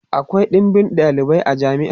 akwai ɗinbin ɗalibai a jami'a